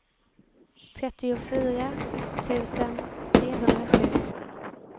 trettiofyra tusen trehundrasju